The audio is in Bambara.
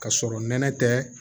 Ka sɔrɔ nɛnɛ tɛ